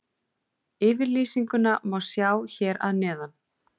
Yfirlýsinguna má sjá hér að neðan.